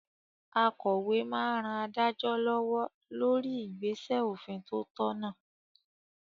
Akòwé máa n ran adájọ́ lọ́wọ́ lórí igbesẹ òfin tó tọ̀nà